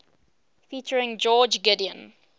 featuring george gideon